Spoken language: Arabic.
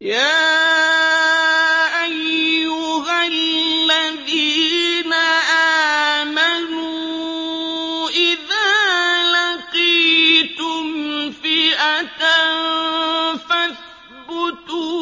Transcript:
يَا أَيُّهَا الَّذِينَ آمَنُوا إِذَا لَقِيتُمْ فِئَةً فَاثْبُتُوا